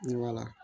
Ne b'a la